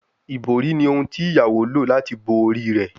Ibori ni ohun ti iyawo lo lati bo ori rẹ